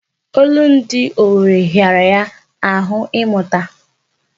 Olundi owere hịara ya ahụ ịmụta.